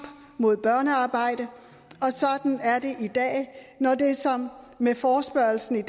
mod børnearbejde og sådan er det i dag når det som med forespørgslen